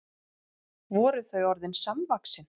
Voru þau orðin samvaxin?